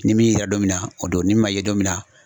Ni min yera don min na o don ni min man ye don min na